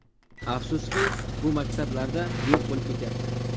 Afsuski, bu maktablar yo‘q bo‘lib ketyapti.